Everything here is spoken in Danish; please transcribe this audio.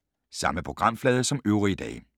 Samme programflade som øvrige dage